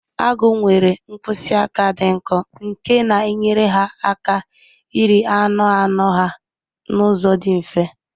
Agụ nwere mkpịsị aka dị nkọ nke na-enyere ha aka iri anụ anụ ha n'ụzọ dị mfe